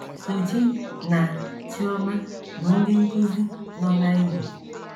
Sochi na Chioma bụ ndị nkụzi nọ na Imo.